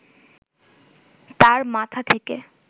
তাঁর মাথা থেকে